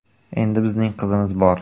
Endi bizning qizimiz bor.